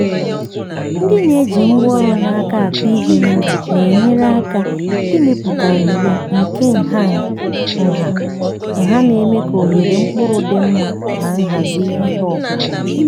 ndị na-eji ngwa ọrụ n’aka akụ ihe n’ubi na-enyere aka ịmepụta oghere nke nha nha na-eme ka ohere mkpụrụ dị mma na nhazi ihe ọkụkụ.